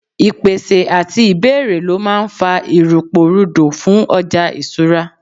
ìpèsè ati ibeere lo ma n fa iruporudo fún ọja isura